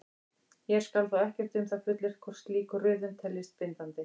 Hér skal þó ekkert um það fullyrt hvort slík röðun teljist bindandi.